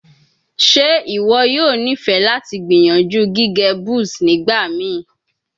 Ṣe iwọ yoo nifẹ lati gbiyanju gige buzz nigbamii?